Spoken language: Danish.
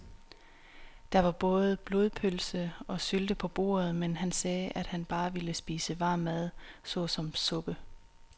Der var både blodpølse og sylte på bordet, men han sagde, at han bare ville spise varm mad såsom suppe.